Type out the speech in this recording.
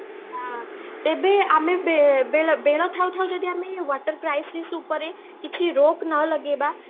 ଅଂ ତେବେ ଆମେ ବେ ବେଳ ଥାଉ ଥାଉ ଯଦି ଆମେ water crisis ଉପରେ କିଛି ରୋକ ନଲଗେଇବା